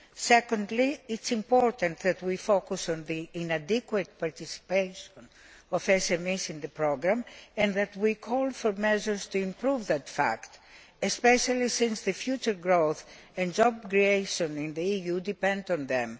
Secondly, it is important that we focus on the inadequate participation of SMEs in the programme and that we call for measures to improve this, especially since future growth and job creation in the EU depend on them.